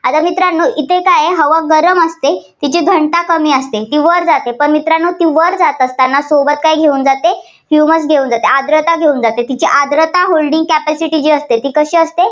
आता मित्रांनो इथे काय आहे? हवा गरम असते तिथे घनता कमी असते. ती वर जाते. तर मित्रांनो वर जात असताना सोबत काय घेऊन जाते? humus घेऊन जाते. आर्द्रता घेऊन जाते. तिची आर्द्रता holding capacity जी असते ती कशी असते?